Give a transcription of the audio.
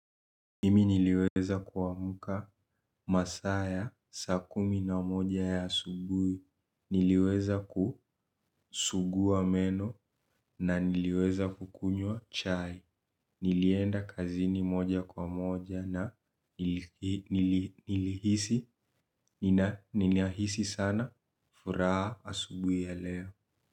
Mimi nliweza kuamka masaa ya saa kumi na moja ya asubuhi niliweza kusugua meno na niliweza kukunywa chai. Nilienda kazini moja kwa moja na nilihisi ninahisi sana furaha asubui ya leo.